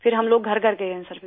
پھر ہم لوگ گھر گھر گئے ہیں